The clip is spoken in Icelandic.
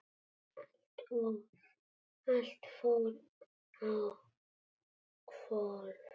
Allt fór á hvolf.